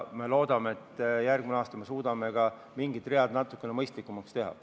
Loodame, et järgmisel aastal me suudame ka mingid read natukene mõistlikumaks teha.